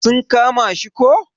Sun kama shi ko?